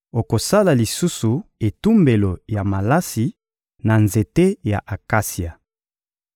Okosala lisusu etumbelo ya malasi na nzete ya akasia.